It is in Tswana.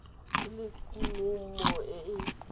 e le kumo e e